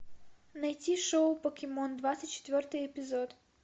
найти шоу покемон двадцать четвертый эпизод